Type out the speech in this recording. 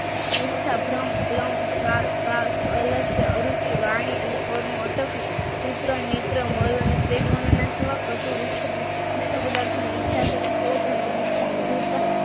ભ્રમ કલમ શ્વાસ ળાશય અરુચિ વનિચ્ય અને ક્રોધનું અટકવું મધુરતા